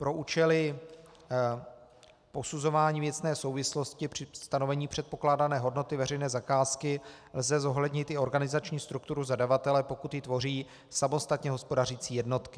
Pro účely posuzování věcné souvislosti při stanovení předpokládané hodnoty veřejné zakázky lze zohlednit i organizační strukturu zadavatele, pokud ji tvoří samostatně hospodařící jednotky.